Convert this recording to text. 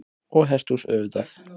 Og hesthús auðvitað.